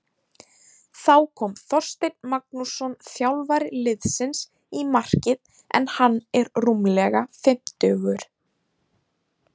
Þá kom Þorsteinn Magnússon þjálfari liðsins í markið en hann er rúmlega fimmtugur.